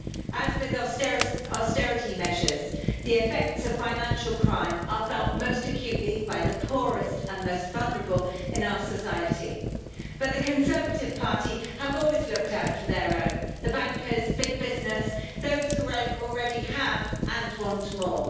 As with austerity measures, the effects of financial crime are felt most acutely by the poorest and most vulnerable in our society. But the Conservative Party have always looked out for their own, the bankers, big business, those who already have and want more.